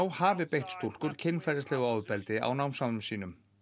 hafi beitt stúlkur kynferðislegu ofbeldi á námsárum sínum